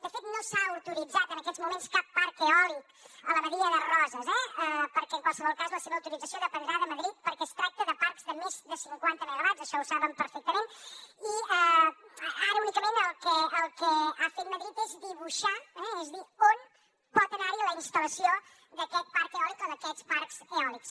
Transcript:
de fet no s’ha autoritzat en aquests moments cap parc eòlic a la badia de roses perquè en qualsevol cas la seva autorització dependrà de madrid perquè es tracta de parcs de més de cinquanta megawatts això ho saben perfectament i ara únicament el que ha fet madrid és dibuixar és a dir on pot anar la instal·lació d’aquest parc eòlic o d’aquests parcs eòlics